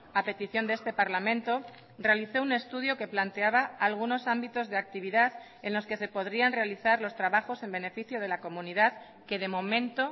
a petición de este parlamento realizó un estudio que planteaba algunos ámbitos de actividad en los que se podrían realizar los trabajos en beneficio de la comunidad que de momento